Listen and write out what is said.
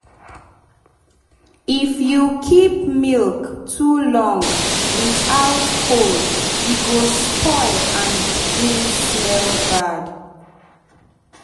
if you keep milk too long without cold e go spoil and begin smell bad.